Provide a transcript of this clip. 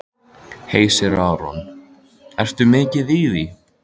Hersir Aron: Ertu mikið í því?